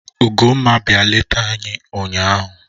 Ugomma bia leta anyi ụnyaahụ